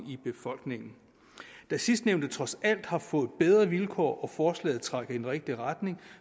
i befolkningen da sidstnævnte trods alt har fået bedre vilkår og forslaget trækker i den rigtige retning